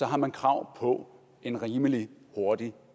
har man krav på en rimelig hurtig